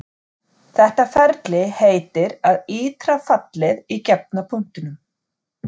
Þetta ferli heitir að ítra fallið í gefna punktinum.